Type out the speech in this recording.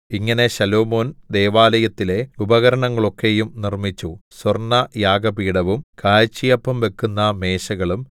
ഇങ്ങനെ ശലോമോൻ ദൈവാലയത്തിലെ ഉപകരണങ്ങൾ ഒക്കെയും നിർമ്മിച്ചു സ്വർണയാഗപീഠവും കാഴ്ചയപ്പം വെക്കുന്ന മേശകളും